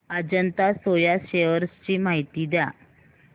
Ajanta Soya shares ची माहिती द्या